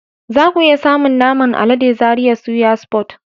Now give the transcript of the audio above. Zaku iya samun naman alade a Zaria Suya Spot.